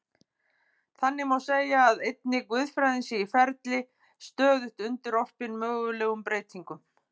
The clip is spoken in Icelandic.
Þannig má segja að einnig guðfræðin sé í ferli, stöðugt undirorpin mögulegum breytingum.